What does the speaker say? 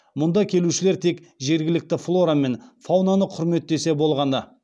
мұнда келушілер тек жергілікті флора мен фаунаны құрметтесе болғаны